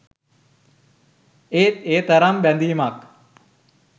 ඒත් ඒ තරම් බැඳීමක්